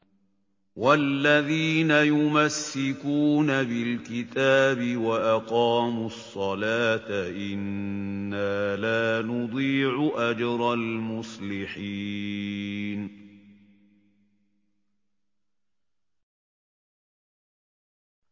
وَالَّذِينَ يُمَسِّكُونَ بِالْكِتَابِ وَأَقَامُوا الصَّلَاةَ إِنَّا لَا نُضِيعُ أَجْرَ الْمُصْلِحِينَ